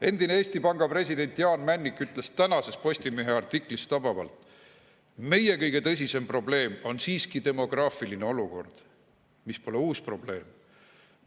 Endine Eesti Panga Jaan Männik ütles tänases Postimehe artiklis tabavalt, et meie kõige tõsisem probleem on siiski demograafiline olukord, mis pole uus probleem.